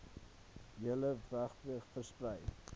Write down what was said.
hele wbg versprei